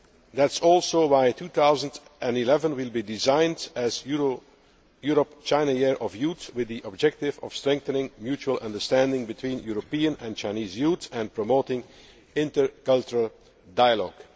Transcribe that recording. That is also why 2011 will be designated Europe China Year of Youth with the objective of strengthening mutual understanding between European and Chinese youth and promoting intercultural dialogue.